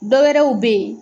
Dɔwɛrɛw bɛ ye.